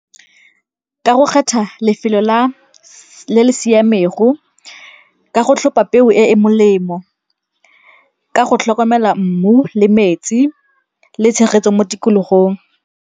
Ka go kgetha lefelo le le siamego, ka go tlhopha peo e e molemo, ka go tlhokomela mmu le metsi le tshegetso mo tikologong.